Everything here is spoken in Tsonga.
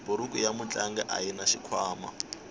buruku ya mutlangi ayina xikhwama